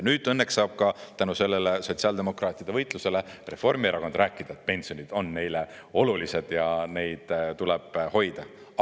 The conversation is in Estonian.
Nüüd õnneks saab ka tänu sellele sotsiaaldemokraatide võitlusele Reformierakond rääkida, et pensionid on neile olulised ja neid tuleb hoida.